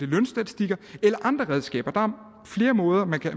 lønstatistikker eller andre redskaber der er flere måder man kan